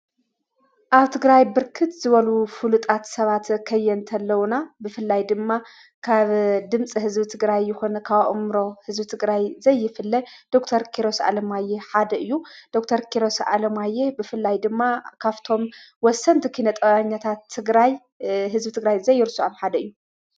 ኣውቲግራይ ብርክት ዝበሉ ፍሉጣት ሰባተ ኸየ እንተለዉና ብፍላይ ድማ ካብ ድምፂ ሕዝቢ ትግራይ ይኾነ ካብኦምሮ ሕዝቢ ትግራይ ዘይፍለ ዶተር ኪሮስ ዓለማየ ሓደ እዩ ዶተር ኪሮስ ዓለማየ ብፍላይ ድማ ካፍቶም ወሰንቲ ኪነጠውኛታ ትግራይ ሕዝቢ ትግራይ ዘይርስዖም ሓደ እዩ።